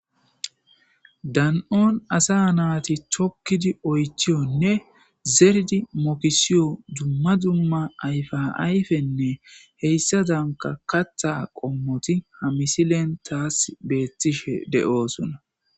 Dan'un asa naytti tukkidi oychchiyonne zeridi mokisiyo dumma dumma ayfa ayfinne heysazan kaththa qommotti ha misilen tas betishe de'soona.